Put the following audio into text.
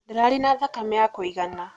Ndararĩ na thakame ya kũigana.